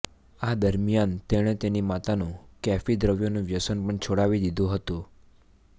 આ દરમિયાન તેણે તેની માતાનું કૅફી દ્રવ્યોનું વ્યસન પણ છોડાવી દીધું હતું